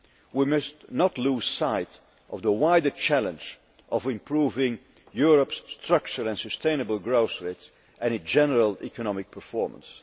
We must not lose sight of the wider challenge of improving Europe's structure and sustainable growth rates and a general economic performance.